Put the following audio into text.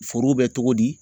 Forow bɛ cogo di